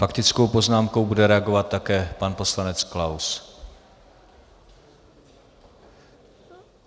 Faktickou poznámkou bude reagovat také pan poslanec Klaus.